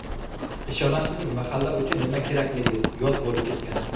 Ishonasizmi, mahalla uchun nima kerakligi yod bo‘lib ketgan.